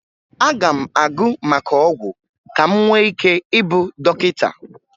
Aga m agụ maka ọgwụ ka m nwee ike ịbụ dọkịta